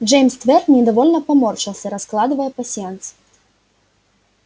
джеймс твер недовольно поморщился раскладывая пасьянс